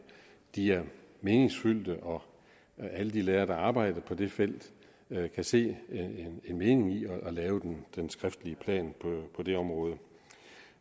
de er meningsfyldte og alle de lærere der arbejder på det felt kan se en mening i at lave den skriftlige plan